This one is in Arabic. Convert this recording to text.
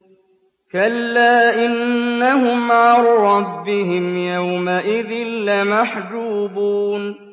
كَلَّا إِنَّهُمْ عَن رَّبِّهِمْ يَوْمَئِذٍ لَّمَحْجُوبُونَ